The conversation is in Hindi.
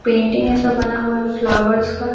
पेंटिंग जैसा बना हुआ है फ्लावर्स का।